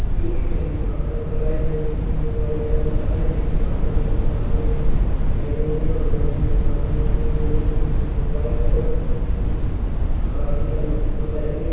एक हेलीकॉप्टर खड़ा है जोकि ब्लू वाइट कलर है हेलीकॉप्टर के समाने एक बिल्डिंग है बिल्डिंग के सामने एक और बिल्डिंग है जिसके ऊपर वाइट और ख़ाकी कलर का पुता है।